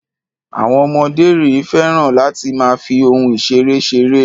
Àwọn ọmọdé rẹ̀ féràn láti máa fi ohun-ìṣeré ṣeré.